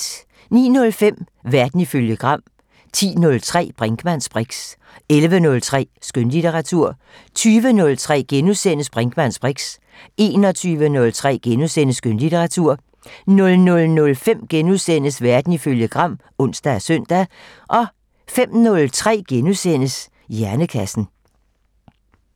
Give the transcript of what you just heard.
09:05: Verden ifølge Gram 10:03: Brinkmanns briks 11:03: Skønlitteratur 20:03: Brinkmanns briks * 21:03: Skønlitteratur * 00:05: Verden ifølge Gram *(ons og søn) 05:03: Hjernekassen *